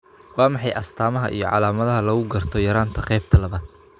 Waa maxay astamaha iyo calaamadaha lagu garto yaraanta qaybta labaad?